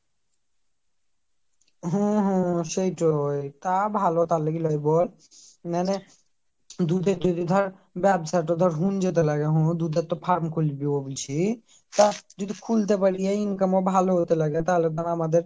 হম হম সেইটোই তা ভালো তার লেগে লইব নালে দুধের থেকে ধর ব্যাবসাটা ধর হুণ্যতে লাগে আমার দুধের একটা farm খুলবো বোলছি তা যদি খুলতে পারি income ও ভালো হতে লাগে তাহলে ধর আমাদের